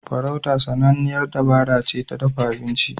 Farauta sananniyar dabara ce ta dafa abinci.